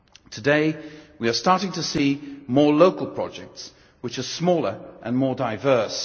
Today, we are starting to see more local projects, which are smaller and more diverse.